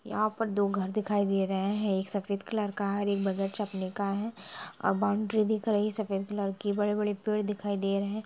यहां पर दो घर दिखाई दे रहे हैं| एक सफेद कलर का है और एक बदर चापनी का है और बाउंड्री दिख रही है| सफ़ेद कलर की बड़े बड़े पेड दिखाई दे रहे है ।